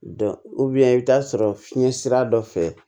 i bɛ taa sɔrɔ fiɲɛ sira dɔ fɛ